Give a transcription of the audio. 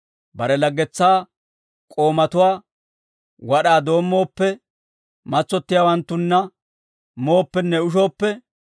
bare laggetsaa k'oomatuwaa wad'aa doommooppe, matsottiyaawanttunna mooppenne ushooppe,